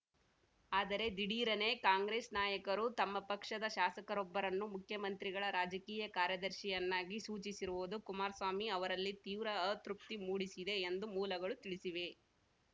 ಆದರೆ ದಿಢೀರನೆ ಕಾಂಗ್ರೆಸ್‌ ನಾಯಕರು ತಮ್ಮ ಪಕ್ಷದ ಶಾಸಕರೊಬ್ಬರನ್ನು ಮುಖ್ಯಮಂತ್ರಿಗಳ ರಾಜಕೀಯ ಕಾರ್ಯದರ್ಶಿಯನ್ನಾಗಿ ಸೂಚಿಸಿರುವುದು ಕುಮಾರಸ್ವಾಮಿ ಅವರಲ್ಲಿ ತೀವ್ರ ಅತೃಪ್ತಿ ಮೂಡಿಸಿದೆ ಎಂದು ಮೂಲಗಳು ತಿಳಿಸಿವೆ